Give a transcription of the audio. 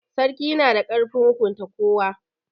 Sarki yana da ƙarfin hukunta kowa.